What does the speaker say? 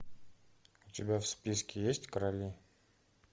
у тебя в списке есть короли